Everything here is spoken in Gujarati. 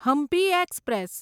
હમ્પી એક્સપ્રેસ